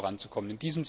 voranzukommen.